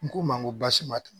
N k'u ma ko baasi ma tunu